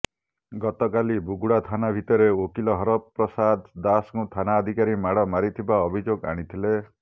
ଗତକାଲି ବୁଗୁଡ଼ା ଥାନା ଭିତରେ ଓକିଲ ହରପ୍ରସାଦ ଦାସଙ୍କୁ ଥାନାଧିକାରୀ ମାଡ଼ ମାରିଥିବା ଅଭିଯୋଗ ଆଣିଥିଲେ